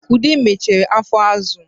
Ude mechere afọ azụ